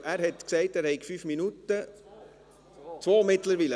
Er hat gesagt, er habe fünf Minuten – zwei mittlerweile.